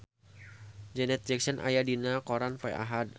Janet Jackson aya dina koran poe Ahad